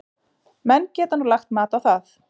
Menn geta nú lagt mat á það.